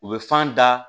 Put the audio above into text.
U bɛ fan da